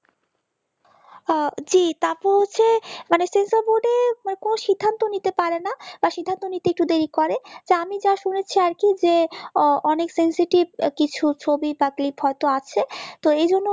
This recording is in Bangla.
জি তারপর হচ্ছে মানে censer board কোন সিদ্ধান্ত নিতে পারে না বা সিদ্ধান্ত নিতে একটু দেরি করে যা আমি যা শুনেছি আর কি যে অনেক sesative কিছু ছবি বা clip হয়তো আছে তো এজন্য